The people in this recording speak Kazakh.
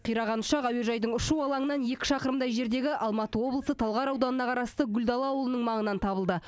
қираған ұшақ әуежайдың ұшу алаңынан екі шақырымдай жердегі алматы облысы талғар ауданына қарасты гүлдала ауылының маңынан табылды